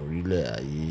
orílẹ̀ ayé.